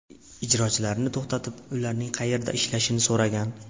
ijrochilarni to‘xtatib, ularning qayerda ishlashini so‘ragan.